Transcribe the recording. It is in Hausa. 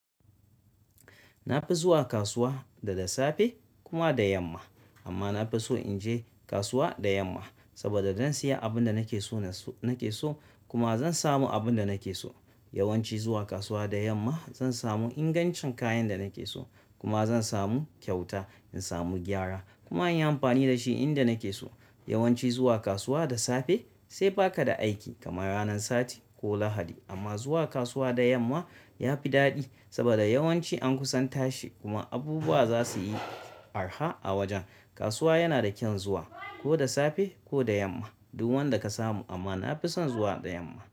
Na fi zuwa kasuwa da da safe kuma da yamma. Amma na fi so in je kasuwa da yamma saboda zan saya abin da nake so nake so kuma zan samu abin da nake so. Yawanci zuwa kasuwa da yamma zan samu ingancin kayan da nake so kuma zan samu kyauta, in samu gyara kuma in yi amfani da shi inda nake so. Yawanci zuwa kasuwa da safe sai baka da aiki kamar ranar sati ko Lahadi. Amma zuwa kasuwa da yamma ya fi daɗi saboda yawanci an kusan tashi kuma abubuwa za su yi arha a wajen. Kasuwa yana da kyan zuwa ko da safe ko da yamma duk wanda ka samu amma na fi son zuwa da yamma.